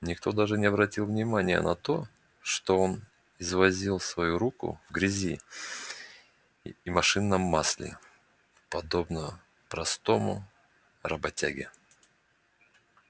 никто даже не обратил внимания на то что он извозил свои руку в грязи и машинном масле подобно простому работяге